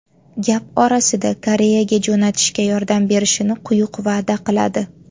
Gap orasida Koreyaga jo‘natishga yordam berishini quyuq va’da qiladi.